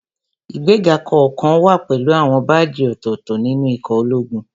Ìgbéga kọ̀ọ̀kan wá pẹ̀lú àwọn báàjì ọ̀tọ̀ọ̀tọ̀ nínú ikọ̀ ológun